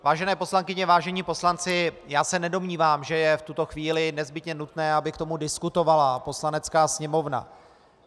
Vážené poslankyně, vážení poslanci, já se nedomnívám, že je v tuto chvíli nezbytně nutné, aby k tomu diskutovala Poslanecká sněmovna.